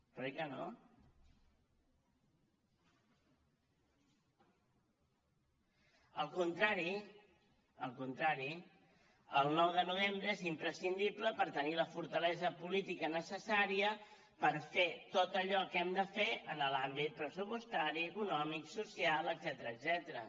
però oi que no al contrari al contrari el nou de novembre és imprescindible per tenir la fortalesa política necessària per fer tot allò que hem de fer en l’àmbit pressupostari econòmic social etcètera